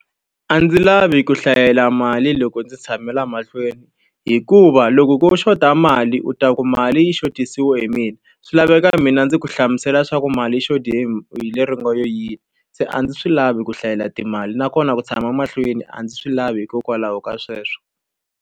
A ndzi lavi ku hlayela mali loko ndzi tshame laha mahlweni, hikuva loko ko xota mali u ta ku mali yi xotisile hi mina. Swi laveka mina ndzi ku hlamusela leswaku mali yi xothe hi hi le ri nga lo yini. Se a ndzi swi lavi ku hlayela timali, nakona ku tshama mahlweni a ndzi swi lavi hikokwalaho ka sweswo.